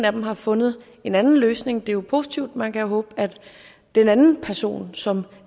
af dem har fundet en anden løsning det er jo positivt man kan håbe at den anden person som